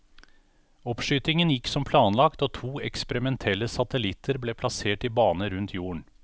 Oppskytingen gikk som planlagt og to eksperimentelle satellitter ble plassert i bane rundt jorden.